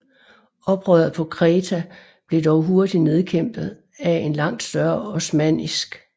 Oprøret på Kreta blev dog hurtigt nedkæmpet af en langt større osmannisk